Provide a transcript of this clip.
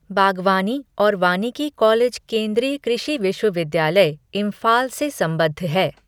बागवानी और वानिकी कॉलेज केंद्रीय कृषि विश्वविद्यालय, इंफाल से संबद्ध है।